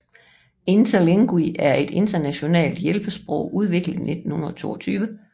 Interlingue er et internationalt hjælpesprog udgivet i 1922